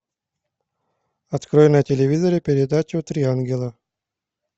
открой на телевизоре передачу три ангела